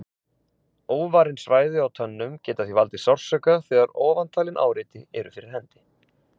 Óvarin svæði á tönnum geta því valdið sársauka þegar ofantalin áreiti eru fyrir hendi.